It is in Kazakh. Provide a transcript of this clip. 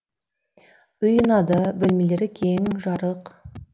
үй ұнады бөлмелері кең жарық